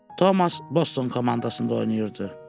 Tomas Boston komandasında oynayırdı.